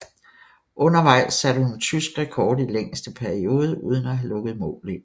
Undervejs satte hun tysk rekord i længste periode uden at have lukket mål ind